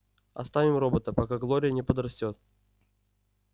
оставим робота пока глория не подрастёт